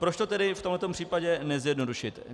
Proč to tedy v tomhle případě nezjednodušit?